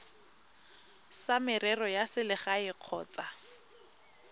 tsa merero ya selegae kgotsa